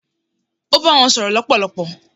ó bá wọn sọ̀rọ̀ lọpọlọpọ